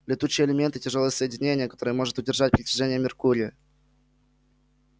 летучие элементы тяжёлые соединения которые может удержать притяжение меркурия